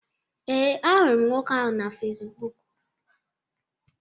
ee, ahụrụ m nwoke ahụ na Facibụkụ